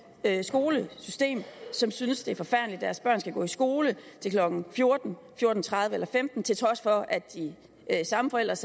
skolesystem som synes det er forfærdeligt at deres børn skal gå i skole til klokken fjorten fjorten tredive eller femten til trods for at de samme forældres